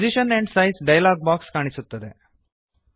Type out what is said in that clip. position and size dialog box ಕಾಣಿಸುತ್ತದೆ